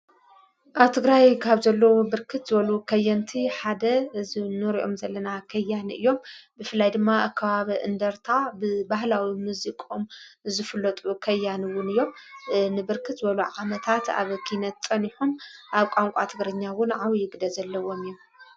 ኣብ ትግራይ ካብ ዘለዉ ብርክት ዘበሉ ኸየንቲ ሓደ እዝኑርኦም ዘለና ኸያን እዮም ብፍላይ ድማ ኣከባብ እንደርታ ብባህላዊ ምዚቆም ዝፍለጡ ኸያንውን እዮም ንብርክት ዘበሉ ዓመታት ኣብ ኪነተን ኢኹም ኣብ ቛንቋ ትግርኛውን ዓው ይግደ ዘለዎም እዩ።